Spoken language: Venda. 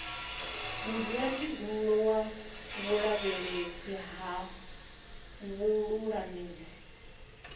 mudzulatshidulo wa vhulavhelesi ha vhululamisi